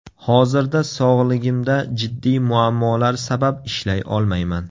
Hozirda sog‘ligimda jiddiy muammolar sabab ishlay olmayman.